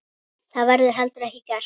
Það verður heldur ekki gert.